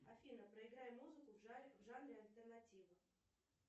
афина проиграй музыку в жанре альтернатива